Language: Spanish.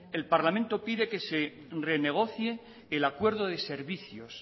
el parlamento pide que se renegocie el acuerdo de servicios